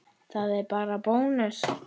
Það er bara bónus.